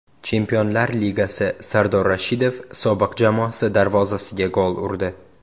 Chempionlar Ligasi: Sardor Rashidov sobiq jamoasi darvozasiga gol urdi.